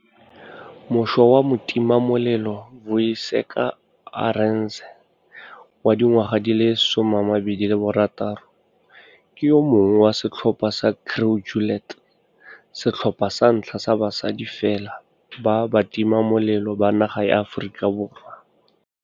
Mošwa wa motimamelelo Vuyiseka Arendse wa dingwaga di le 26 ke yo mongwe wa setlhopha sa Crew Juliet, setlhopha sa ntlha sa basadi fela ba batimamelelo ba naga ya Aforika Borwa.